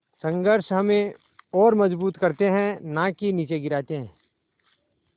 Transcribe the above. संघर्ष हमें और मजबूत करते हैं नाकि निचे गिराते हैं